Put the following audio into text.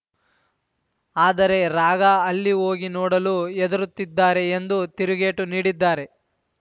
ಆದರೆ ರಾಗಾ ಅಲ್ಲಿ ಹೋಗಿ ನೋಡಲು ಹೆದರುತ್ತಿದ್ದಾರೆ ಎಂದು ತಿರುಗೇಟು ನೀಡಿದ್ದಾರೆ